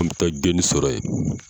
An bɛ taa geni sɔrɔ yen